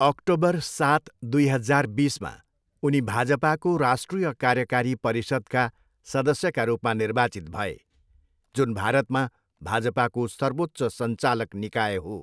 October सात, दुई हजार बिसमा, उनी भाजपाको राष्ट्रिय कार्यकारी परिषद्का सदस्यका रूपमा निर्वाचित भए जुन भारतमा भाजपाको सर्वोच्च सञ्चालक निकाय हो।